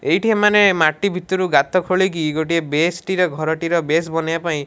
ଏଇଠି ଏମାନେ ମାଟି ଭିତରୁ ଗାତ ଖୋଲିକି ଗୋଟେଏ ବେଶ ବେସ୍ ଟିର ଘରଟିର ବେଶ ବନେଇବା ପାଁଇ --